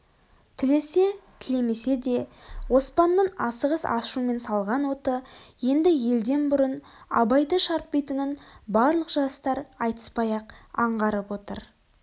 тілесе тілемесе де оспанның асығыс ашумен салған оты енді елден бұрын абайды шарпитынын барлық жастар айтыспай-ақ аңғарып отыр